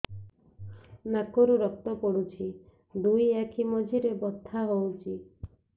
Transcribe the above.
ନାକରୁ ରକ୍ତ ପଡୁଛି ଦୁଇ ଆଖି ମଝିରେ ବଥା ହଉଚି